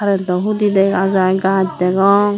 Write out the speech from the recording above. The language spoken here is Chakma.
eyot do hudi dega jai gaj degong.